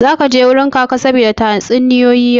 Zaka je wajen Kaka saboda tatsuniyoyi yau?